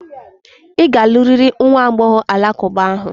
Ị ga-alụrịrị nwa agbọghọ alakụba ahụ!